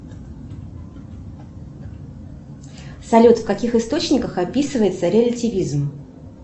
салют в каких источниках описывается релятивизм